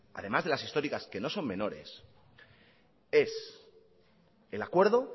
además de las históricas que no son menores es el acuerdo